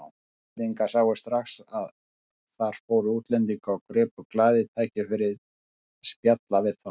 Íslendingarnir sáu strax að þar fóru útlendingar og gripu glaðir tækifærið að spjalla við þá.